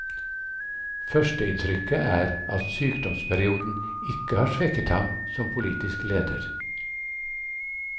Førsteinntrykket er at sykdomsperioden ikke har svekket ham som politisk leder.